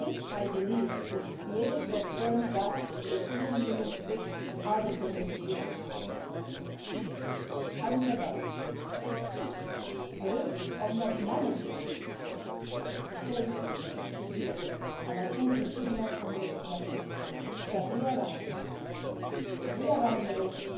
I believe that we need to be able to affirm that the European Union positions are determined in Europe. Having said that, the risk of not managing to save this agreement is real and I think we should not underestimate that we are running a risk.